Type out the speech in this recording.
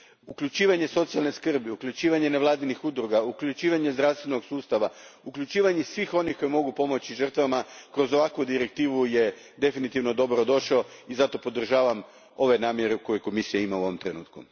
Uključivanje socijalne skrbi, uključivanje nevladinih udruga, uključivanje zdravstvenog sustava, uključivanje svih onih koji mogu pomoći žrtvama kroz ovakvu direktivu definitivno je dobrodošlo i zato podržavam ove namjere koje Komisija ima u ovom trenutku.